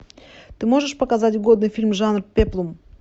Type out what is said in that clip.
ты можешь показать годный фильм жанр пеплум